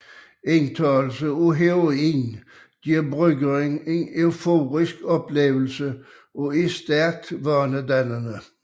Indtagelse af heroin giver brugeren en euforisk oplevelse og er stærkt vanedannende